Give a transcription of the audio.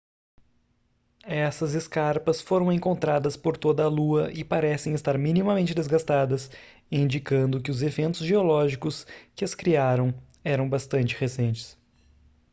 essas escarpas foram encontradas por toda a lua e parecem estar minimamente desgastadas indicando que os eventos geológicos que as criaram eram bastante recentes